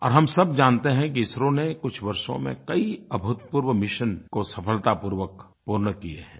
और हम सब जानते हैं कि इसरो ने कुछ वर्षों में कई अभूतपूर्व मिशन सफलतापूर्वक पूर्ण किए हैं